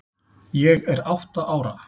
Ég er átta ára.